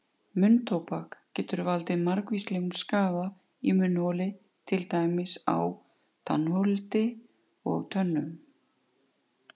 Munntóbak getur valdið margvíslegum skaða í munnholi til dæmis á tannholdi og tönnum.